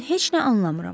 Mən heç nə anlamıram.